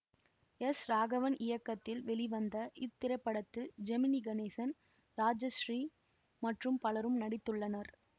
S Raghavan இயக்கத்தில் வெளிவந்த இத்திரைப்படத்தில் ஜெமினி கணேசன் ராஜஸ்ரீ மற்றும் பலரும் நடித்துள்ளனர்